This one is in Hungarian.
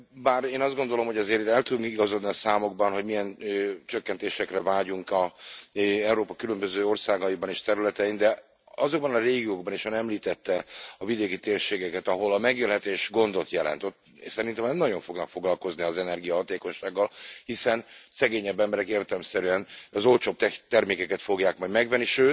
Bár én azt gondolom, hogy azért itt el tudnék igazodni a számokban, hogy milyen csökkentésekre vágyunk Európa különböző országaiban és területein, de azokban a régiókban is Ön említette a vidéki térségeket ahol a megélhetés gondot jelent, ott szerintem nem nagyon fognak foglalkozni az energiahatékonysággal, hiszen szegényebb emberek értelemszerűen az olcsóbb termékeket fogják majd megvenni.